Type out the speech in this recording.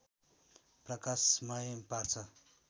प्रकाशमय पार्छ